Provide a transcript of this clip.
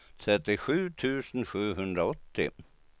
trettiosju tusen sjuhundraåttio